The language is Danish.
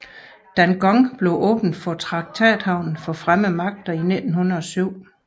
Dangong blev åbnet som traktathavn for fremmede magter i 1907